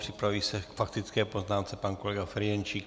Připraví se k faktické poznámce pan kolega Ferjenčík.